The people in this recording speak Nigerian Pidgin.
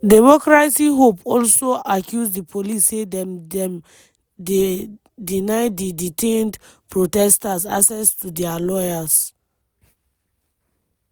democracy hub also accuse di police say dem dem dey deny di detained protesters access to dia lawyers.